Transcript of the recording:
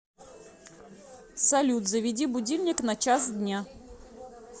салют заведи будильник на час дня